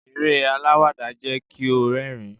eré alawada jẹ ki o rérìn